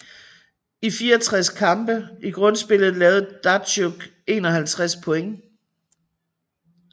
I 64 kampe i grundspillet lavede Datsjuk 51 points